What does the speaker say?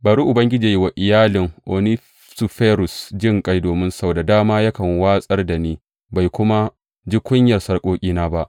Bari Ubangiji yă yi wa iyalin Onesiforus jinƙai, domin sau da dama yakan wartsakar da ni, bai kuma ji kunyar sarƙoƙina ba.